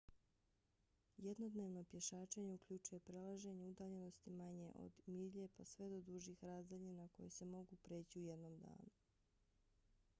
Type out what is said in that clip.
jednodnevno pješačenje uključuje prelažanje udaljenosti manje od milje pa sve do dužih razdaljina koje se mogu preći u jednom danu